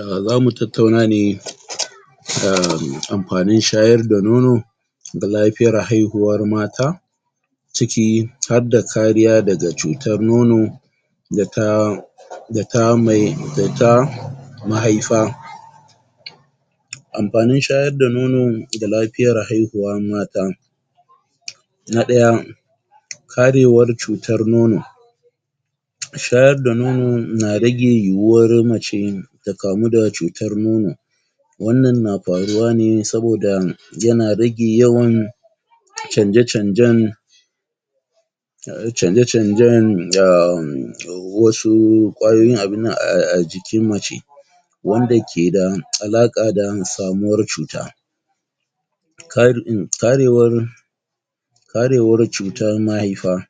um zamu tattauna ne um amfanin shayar da nono ga lafiyar haihuwar mata ciki hadda kariya daga cutar nono da ta da ta mai, da ta mahaifa Amfanin shayar da nono ga lafiyar haihuwa mata Na ɗaya Karewar cutar nono shayar da nono na rage yiwuwar mace ta kamu da cutar nono wannan na faruwa ne saboda yana rage yawan canje-canjen um canje-canjen um wasu ƙwayoyin abinnan a a jikin mace wanda keda, alaƙa da samuwar cuta kar um karewar karewar cutan mahaifa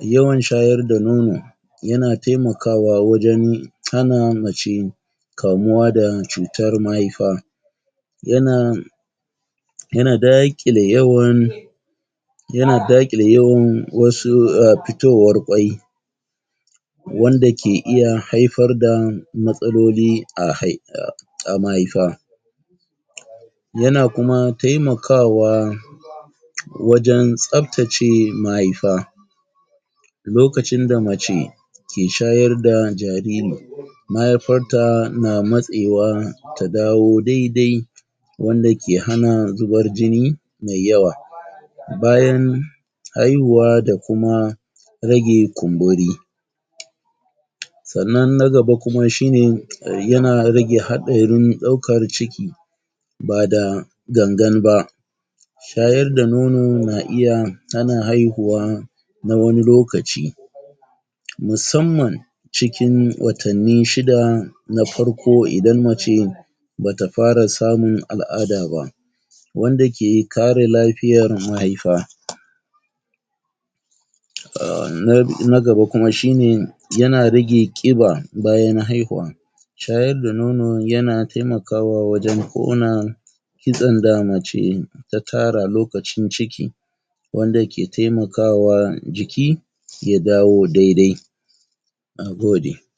yawan shayar da nono yana taimakawa wajen hana mace kamuwa da cutar mahaifa yana yana daƙile yawan yana daƙile yawan wasu um fitowar ƙwai wanda ke iya haifar da matsaloli a hai a, a mahaifa yana kuma taimakawa wajen tsaftace mahaifa lokacin da mace ke shayar da jariri mahaifarta na matsewa ta dawo dai-dai wanda ke hana zubar jini mai yawa bayan haihuwa da kuma rage kumburi sannan nagaba kuma shine, yana rage haɗarin ɗaukar ciki bada gangan ba shayar da nono na iya hana haihuwa na wani lokaci musamman cikin watanni shida na farko idan mace bata fara samun al'ada ba wanda ke kare lafiyar mahaifa um na, na gaba kuma shine yana rage ƙiba bayan haihuwa shayar da nono yana taimakawa wajen ƙona kitsen da mace ta tara lokacin ciki wanda ke taimakawa jiki ya dawo dai-dai nagode.